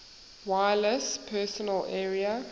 wireless personal area